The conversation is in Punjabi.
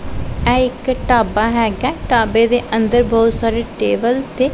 ਇਹ ਇੱਕ ਢਾਬਾ ਹਿਗਾ ਢਾਬੇ ਦੇ ਅੰਦਰ ਬਹੁਤ ਸਾਰੀ ਟੇਬਲ ਤੇ--